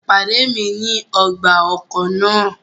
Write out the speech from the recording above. Pade mi ni ọgba-ọkọ naa!